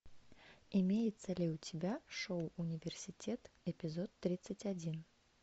имеется ли у тебя шоу университет эпизод тридцать один